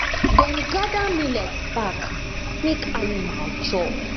dem gather millet back make animal chop